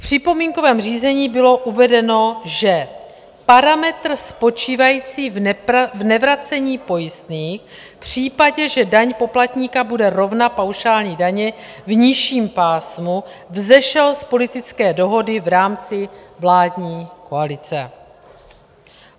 V připomínkovém řízení bylo uvedeno, že parametr spočívající v nevracení pojistných v případě, že daň poplatníka bude rovna paušální dani v nižším pásmu, vzešel z politické dohody v rámci vládní koalice.